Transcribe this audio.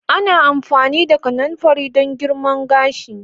Ana amfani da kananfari don girma gashi.